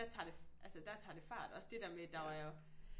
Der tager det altså der tager det fart også det der med der er jo